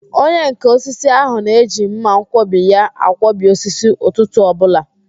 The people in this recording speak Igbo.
Onyenká osisi ahụ na-eji mmanwkọbi ya akwọbi osisi ụtụtụ ọbụla